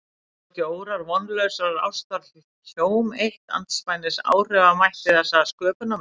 Voru ekki órar vonlausrar ástar hjóm eitt andspænis áhrifamætti þessa sköpunarverks?